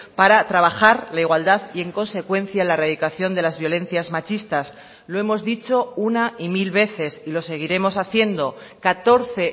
para trabajar la igualdad y en consecuencia la erradicación de las violencias machistas lo hemos dicho una y mil veces y lo seguiremos haciendo catorce